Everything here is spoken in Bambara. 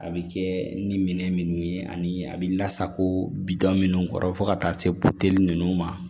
A bɛ kɛ ni minɛn minnu ye ani a bɛ lasago bi da minnu kɔrɔ fo ka taa se ninnu ma